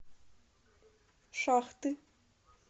шахты